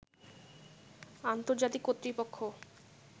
আন্তর্জাতিক কর্তৃপক্ষ